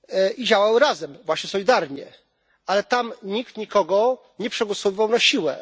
i działały razem właśnie solidarnie ale tam nikt nikogo nie przegłosowywał na siłę.